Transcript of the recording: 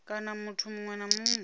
kana muthu muṅwe na muṅwe